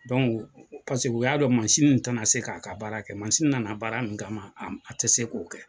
u y'a dɔn masini nin tɛna se k'a ka baara kɛ masin nana baara min kama a tɛ se k'o kɛ.